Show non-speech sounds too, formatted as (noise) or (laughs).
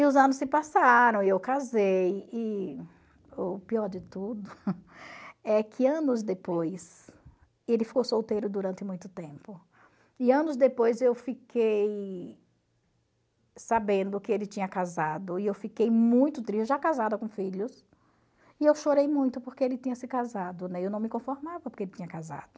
E os anos se passaram, e eu casei, e o pior de tudo (laughs) é que anos depois, ele ficou solteiro durante muito tempo, e anos depois eu fiquei sabendo que ele tinha casado, e eu fiquei muito triste, já casada com filhos, e eu chorei muito porque ele tinha se casado, né, eu não me conformava porque ele tinha casado.